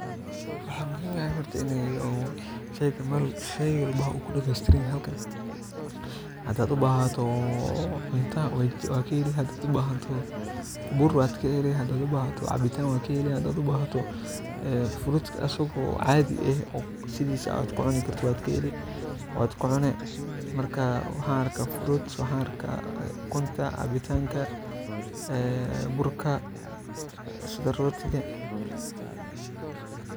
Waxaa muhiim ah in u shey walba kudamestiyan yahay wax walbo in u kudamestiran yahay maxan arka cuntadha dameatiran waxan arka biya kala duwan sas waye.